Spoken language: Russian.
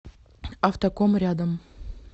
автоком рядом